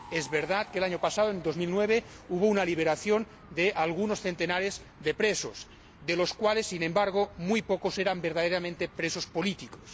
Es verdad que el año pasado, en 2009, hubo una liberación de algunos centenares de presos, de los cuales, sin embargo, muy pocos eran verdaderamente presos políticos.